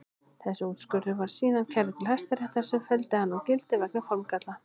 Þessi úrskurður var síðan kærður til Hæstaréttar sem felldi hann úr gildi vegna formgalla.